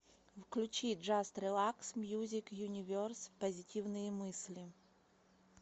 включи джаст релакс мьюзик юниверс позитивные мысли